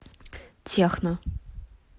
техно